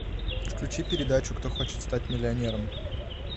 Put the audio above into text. включи передачу кто хочет стать миллионером